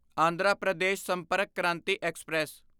Andhra Pradesh Sampark Kranti express